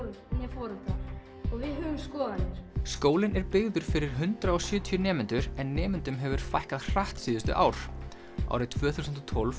foreldra og við höfum skoðanir skólinn er byggður fyrir hundrað og sjötíu nemendur en nemendum hefur fækkað hratt síðustu ár árið tvö þúsund og tólf